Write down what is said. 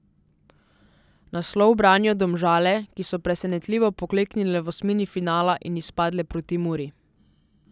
Naslov branijo Domžale, ki so presenetljivo pokleknile v osmini finala in izpadle proti Muri.